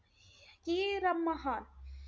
की रमाहा,